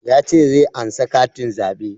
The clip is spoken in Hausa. Ya ce zai ansa katin zaɓe